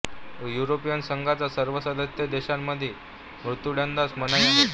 European संघाच्या सर्व सदस्य देशांमध्ये मृत्यूदंडास मनाई आहे